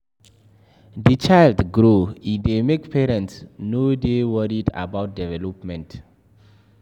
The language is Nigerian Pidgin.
Di child grow e dey make parents no dey worried about development